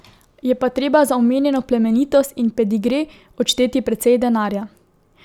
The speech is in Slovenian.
Je pa treba za omenjeno plemenitost in pedigre odšteti precej denarja.